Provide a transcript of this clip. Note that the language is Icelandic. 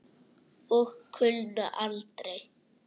Og kulna aldrei.